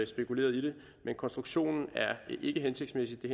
spekuleret i det men konstruktionen er ikke hensigtsmæssig det